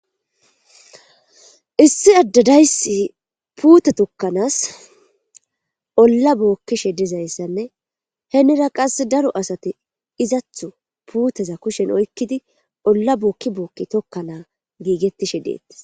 issi addadaysi puute tokkanaas olla bookkishe dizayssanne henira qass daro asati izatho puuteza kushen oykkidi olla bookki bookki tokkanaa giigettishe deettis